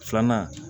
Filanan